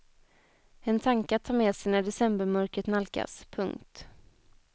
En tanke att ta med sig när decembermörkret nalkas. punkt